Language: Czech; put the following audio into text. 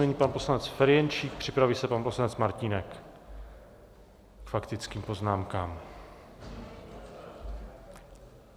Nyní pan poslanec Ferjenčík, připraví se pan poslanec Martínek k faktickým poznámkám.